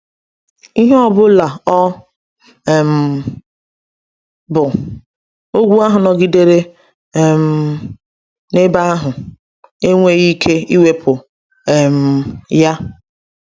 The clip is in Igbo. Ihe ọ bụla ọ um bụ, ogwu ahụ nọgidere um n’ebe ahụ, enweghị ike iwepụ um ya.